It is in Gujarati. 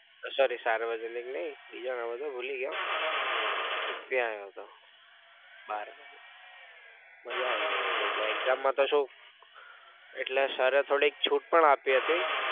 sorry સાર્વજનિક નઈ બીજું નામ હતું ભૂલી ગયો એ ત્યાં આવ્યો હતો બારમું માજા આવી ગઈતી એટલે exam માં તો શું એટલે sir થોડી છૂટ પણ આપી હતી.